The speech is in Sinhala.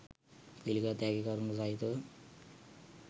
පිළිගත හැකි කරුණු සහිතව